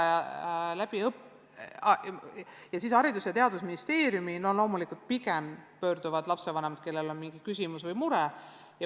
Ja lapsevanemad, kellel on mingi küsimus või mure, pöörduvad pigem Haridus- ja Teadusministeeriumi poole.